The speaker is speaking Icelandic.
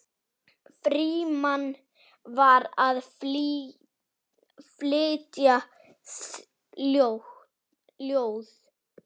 Frímann var að flytja ljóð.